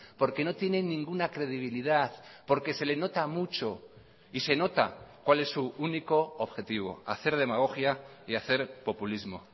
porque no tiene ninguna credibilidad porque se le nota mucho y se nota cuál es su único objetivo hacer demagogia y hacer populismo